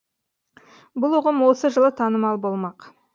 бұл ұғым осы жылы танымал болмақ